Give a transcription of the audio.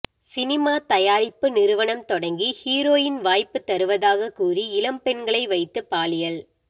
cinema தயாரிப்பு நிறுவனம் தொடங்கி ஹீரோயின் வாய்ப்பு தருவதாக கூறி இளம்பெண்களை வைத்து பாலியல்